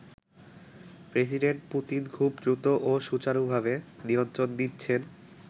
President Putin খুব দ্রুত ও সুচারুভাবে নিয়ন্ত্রণ নিচ্ছেন।